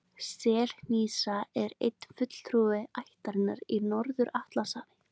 Selhnísan er eini fulltrúi ættarinnar í Norður-Atlantshafi.